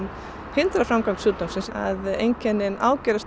hindrar framgang sjúkdómsins að einkennin ágerast